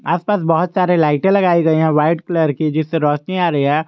आस पास बहुत सारे लाइटे लगाए गए हैं व्हाइट कलर की जिससे रोशनी आ रही है।